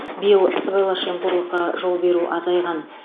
биыл сыбайлас жемқорлыққа жол беру азайған